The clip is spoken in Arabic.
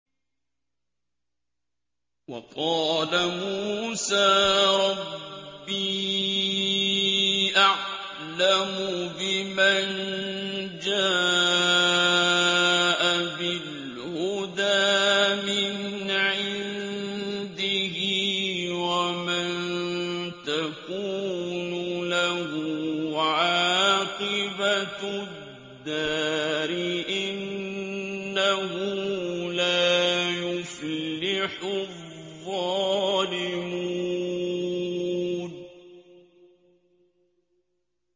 وَقَالَ مُوسَىٰ رَبِّي أَعْلَمُ بِمَن جَاءَ بِالْهُدَىٰ مِنْ عِندِهِ وَمَن تَكُونُ لَهُ عَاقِبَةُ الدَّارِ ۖ إِنَّهُ لَا يُفْلِحُ الظَّالِمُونَ